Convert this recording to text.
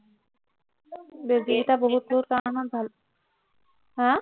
বেজীকেইটা বহুতবোৰ কাৰণত ভাল হা